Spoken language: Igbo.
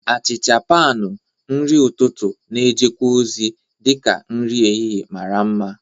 Achicha panu, nri ụtụtụ, na- ejekwa ozi dị ka nri ehihie mara mma.